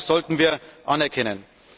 Das sollten wir anerkennen.